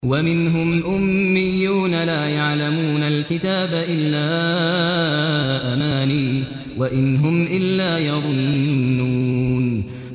وَمِنْهُمْ أُمِّيُّونَ لَا يَعْلَمُونَ الْكِتَابَ إِلَّا أَمَانِيَّ وَإِنْ هُمْ إِلَّا يَظُنُّونَ